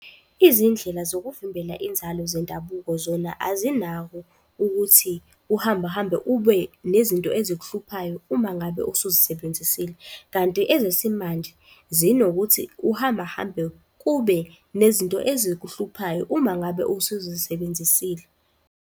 Izindlela zokuvimbela inzalo zendabuko zona azinako ukuthi uhambe hambe, ube nezinto ezihluphayo uma ngabe usuzisebenzisile, kanti ezesimanje zinokuth uhambe hambe, kube nezinto ezikuhluphayo uma ngabe usuzisebenzisile.